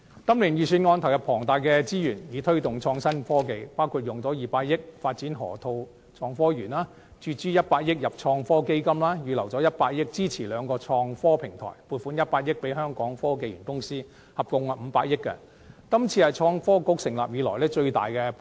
今年的預算案投入龐大資源推動創新科技，包括以200億元發展河套港深創新及科技園、注資100億元到創新及科技基金、預留100億元支持兩個創科平台，以及撥款100億元予香港科技園公司，合共500億元，是創新及科技局成立以來最大筆撥款。